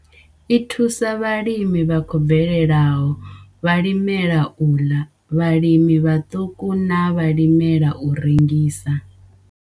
I thusa vhalimi vha khou bvelelaho, vhalimela u ḽa, vhalimi vhaṱuku na vhalimela u rengisa.